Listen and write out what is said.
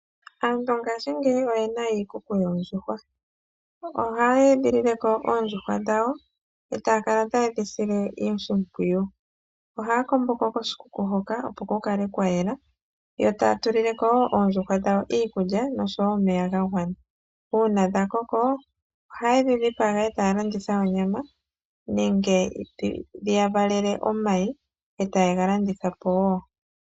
Aantu mongashingeyi oye na iikuku yoondjuhwa. Kiikuku ohaya edhilile ko oondjuhwa dhawo, e ta ya kala taye dhi sile oshimpwiyu. Ohaya kombo ko koshikuku hoka opo ku kale kwa yela, yo taya tulile ko wo oondjuhwa dhawo iikulya nosho wo omeya ga gwana. Uuna dha koko, ohaye dhi dhipaga e taya landitha onyama yadho, nenge dhi ya valele omayi e taye ga landitha po wo.